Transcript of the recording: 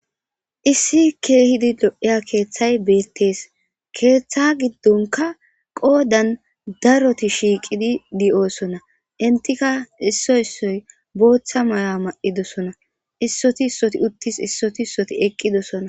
Issi kehidi lo'ya keththey bettes keththa gidonkka qoodan daaroti shiqqidi de'ossona eenttika issoy issoy booththa mayo mayidossona issoti issoti uttis issoti issoti eqqidossona.